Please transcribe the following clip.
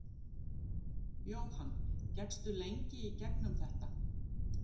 Jóhann: Gekkstu lengi í gegnum þetta?